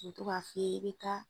O bɛ to ka f'i ye i bɛ taa